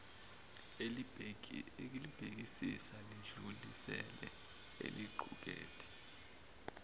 elibhekisisa lidlulisele eliqukethe